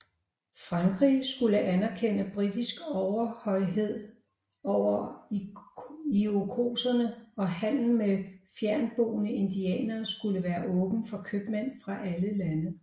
Frankrig skulle anerkende britisk overhøjhed over Irokeserne og handel med fjerntboende indianere skulle være åben for købmænd fra alle lande